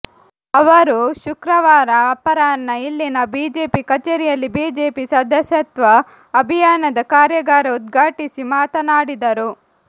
ಅವರು ಶುಕ್ರವಾರ ಅಪರಾಹ್ನ ಇಲ್ಲಿನ ಬಿಜೆಪಿ ಕಚೇರಿಯಲ್ಲಿ ಬಿಜೆಪಿ ಸದಸ್ಯತ್ವ ಅಭಿಯಾನದ ಕಾರ್ಯಾಗಾರ ಉದ್ಘಾಟಿಸಿ ಮಾತನಾಡಿದರು